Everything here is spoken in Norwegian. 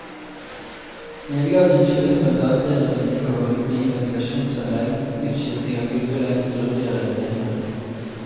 Nedgangen skyldes blant annet bedre vedlikehold, nye ventilasjonsanlegg, utskiftning av gulvbelegg og grundigere rengjøring.